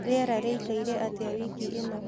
rĩera riraikare atĩa wiki ĩnõ